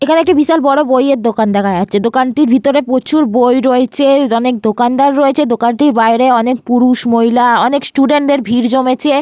এখানে একটি বিশাল বড় বই-এর দোকান দেখা যাচ্ছে। দোকানটির ভিতরে প্রচুর বই রয়েছে এখানে দোকানদার রয়েছে দোকানটির বাইরে অনেক পুরুষ মহিলা অনেক স্টুডেন্ট -দের ভিড় জমেছে।